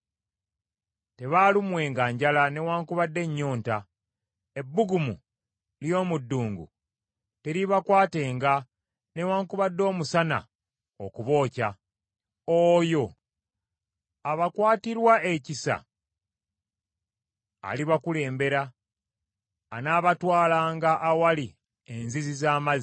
Tebaalumwenga njala newaakubadde ennyonta, ebbugumu ly’omu ddungu teriibakwatenga newaakubadde omusana okubookya. Oyo abakwatirwa ekisa alibakulembera, anaabatwalanga awali enzizi z’amazzi.